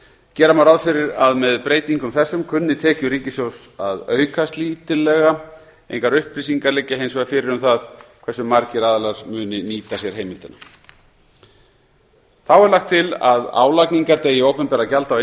gera má ráð fyrir að með breytingum þessum kunni tekjur ríkissjóðs að aukast lítillega engar upplýsingar liggja hins vegar fyrir um það hversu margir aðilar muni nýta sér heimildina þá er lagt til að álagningardegi opinberra gjalda á